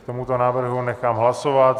K tomuto návrhu nechám hlasovat.